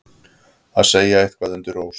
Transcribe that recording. Að segja eitthvað undir rós